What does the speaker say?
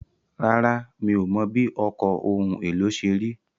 Rárá, mi ò mọ̀ bí ọkọ̀ ohun èlò ṣe rí.